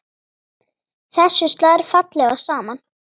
Þessu slær fallega saman.